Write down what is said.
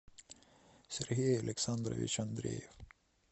сергей александрович андреев